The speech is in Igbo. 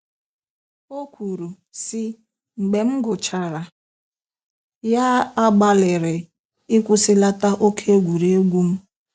O kwuru, sị: “Mgbe m gụchara ya ,agbalịrị ịkwụsịlata oke egwuregwu m.